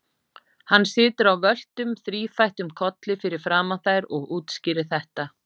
Hann situr á völtum, þrífættum kolli fyrir framan þær og útskýrir þetta.